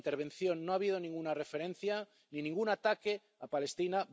En mi intervención no ha habido ninguna referencia ni ningún ataque a Palestina.